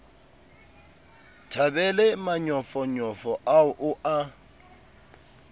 thabele manyofonyo ao o a